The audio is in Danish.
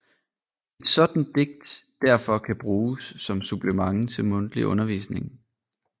Et sådant digt derfor kan bruges som supplement til mundtlig undervisning